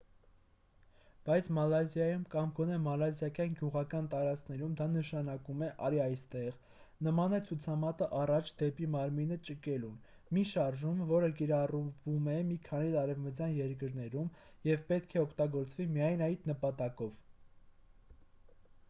բայց մալազիայում կամ գոնե մալազիական գյուղական տարածքներում դա նշանակում է արի այստեղ նման է ցուցամատը առաջ դեպի մարմինը ճկելուն մի շարժում որը կիրառվում է մի քանի արևմտյան երկրներում և պետք է օգտագործվի միայն այդ նպատակով